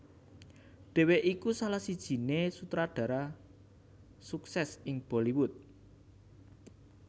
Dheweké iku salah sijiné sutradara sukses ing Bollywood